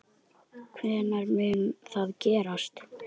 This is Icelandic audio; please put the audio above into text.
Hvenær mun það gerast?